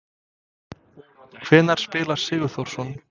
Hvenær spilar Sigþórsson?